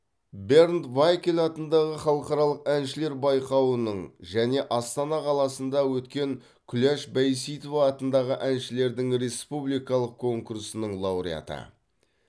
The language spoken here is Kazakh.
бернд вайкель атындағы халықаралық әншілер байқауының және астана қаласынды өткен күләш байсейітова атындағы әншілердің республикалық конкурсының лауреаты